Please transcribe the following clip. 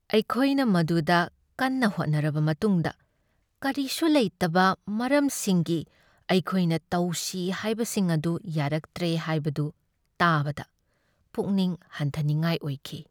ꯑꯩꯈꯣꯏꯅ ꯃꯗꯨꯗ ꯀꯟꯅ ꯍꯣꯠꯅꯔꯕ ꯃꯇꯨꯡꯗ ꯀꯔꯤꯁꯨ ꯂꯩꯇꯕ ꯃꯔꯝꯁꯤꯡꯒꯤ ꯑꯩꯈꯣꯏꯅ ꯇꯧꯁꯤ ꯍꯥꯏꯕꯁꯤꯡ ꯑꯗꯨ ꯌꯥꯔꯛꯇ꯭ꯔꯦ ꯍꯥꯏꯕꯗꯨ ꯇꯥꯕꯗ ꯄꯨꯛꯅꯤꯡ ꯍꯟꯊꯅꯤꯉꯥꯏ ꯑꯣꯏꯈꯤ ꯫